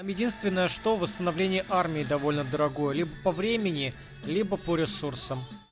единственное что восстановление армии довольно дорогое либо по времени либо по ресурсам